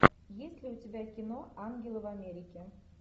есть ли у тебя кино ангелы в америке